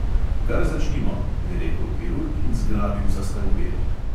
"Kar začnimo," je rekel kirurg in zgrabil za skalpel.